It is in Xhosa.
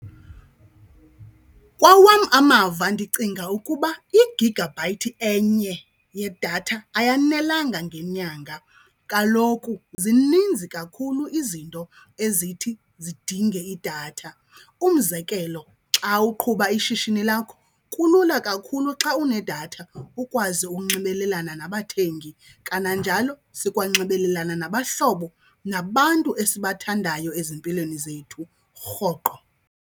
Kwawam amava ndicinga ukuba igigabhayithi enye yedatha ayonelanga ngenyanga. Kaloku zininzi kakhulu izinto ezithi zidinge idatha. Umzekelo, xa uqhuba ishishini lakho kulula kakhulu xa unedatha ukwazi unxibelelana nabathengi. Kananjalo sikwanxibelalena nabahlobo nabantu esibathandayo ezimpilweni zethu rhoqo.